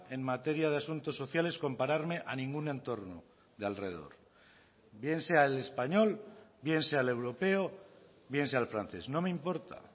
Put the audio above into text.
en materia de asuntos sociales compararme a ningún entorno de alrededor bien sea el español bien sea el europeo bien sea el francés no me importa